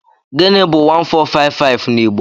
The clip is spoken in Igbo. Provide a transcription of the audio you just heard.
Gịnị bu 1455 n'Igbo?